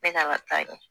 Bɛɛ kan ka taa ɲɛ